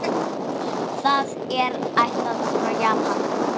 Það er ættað frá Japan.